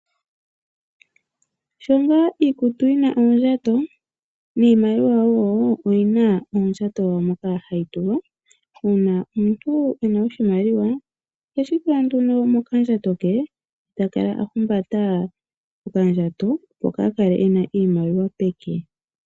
Sho nga iikutu yina oondjato, niimaliwa wo oyina oondjato dhawo moka hadhi tulwa, uuna omuntu ena oshimaliwa oheshi tula nduno mokandjatlo ke, etakala ahumbata oka ndjato, opo kaa kale ena iimaliwa peke.